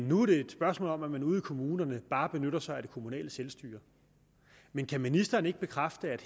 nu er det et spørgsmål om at man ude i kommunerne bare benytter sig af det kommunale selvstyre men kan ministeren ikke bekræfte at